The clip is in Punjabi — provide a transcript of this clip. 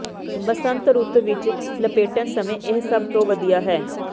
ਬਸੰਤ ਰੁੱਤ ਵਿੱਚ ਲਪੇਟਣ ਸਮੇਂ ਇਹ ਸਭ ਤੋਂ ਵਧੀਆ ਹੈ